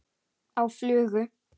Á flugu?